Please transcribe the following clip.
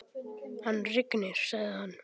Hann rignir, sagði hann.